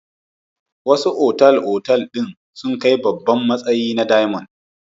Wasu otal-otal ɗin sun kai babban matsayi na diamond.